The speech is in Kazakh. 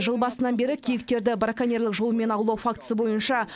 жыл басынан бері киіктерді браконьерлік жолмен аулау фактісі бойынша